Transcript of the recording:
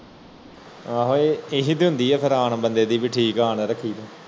ਆਹੋ ਹੀ ਦੀ ਹੁੰਦੀ ਬੰਦੇ ਦੀ ਠੀਕ ਹੈ ਆ ਨਾ ਰੱਖੀ ਤੂੰ